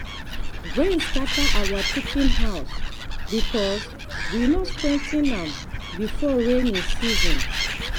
rain scatter our chicken house because we no strengthen am before rainy season.